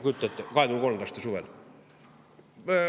Kujuta ette, 2023. aasta suvel!